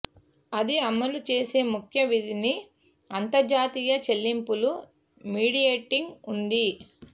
అది అమలు చేసే ముఖ్య విధిని అంతర్జాతీయ చెల్లింపులు మీడియేటింగ్ ఉంది